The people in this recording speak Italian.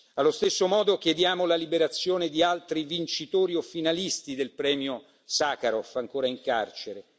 Allo stesso modo chiediamo la liberazione di altri vincitori o finalisti del premio Sacharov ancora in carcere.